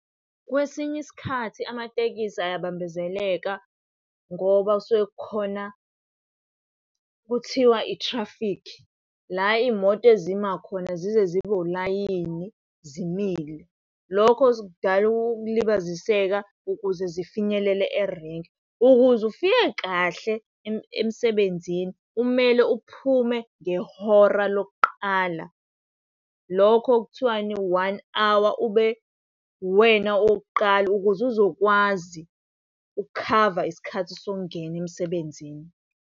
Kwesinye isikhathi amatekisi ayabambezeleka ngoba kusuke kukhona, kuthiwa i-traffic, la iy'moto ezima khona zize zibe ulayini zimile. Lokho kudala ukulibaziseka ukuze zifinyelele erenki. Ukuze ufike kahle emsebenzini, kumele uphume ngehora lokuqala, lokho okuthiwani, one hour, ube uwena owokuqala ukuze uzokwazi ukukhava isikhathi sokungena emsebenzini.